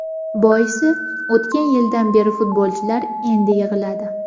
Boisi, o‘tgan yildan beri futbolchilar endi yig‘iladi.